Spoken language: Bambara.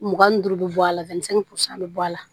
Mugan ni duuru bɛ bɔ a la denmisɛnnin pusan bɛ bɔ a la